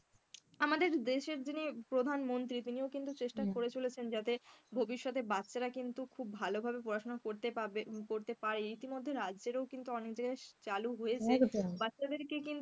আমাদের দেশের জিনি প্রধানমন্ত্রী তিনিও কিন্তু চেষ্টা করে চলেছেন যাতে ভবিষ্যতে বাচ্চারা কিন্তু খুব ভালোভাবে পড়াশোনা করতে পাবে~পারবে, এটি মধ্যে রাজ্যেরও কিন্তু অনেক জায়গায় চালু হয়েছে বাচ্চা দের কে কিন্তু,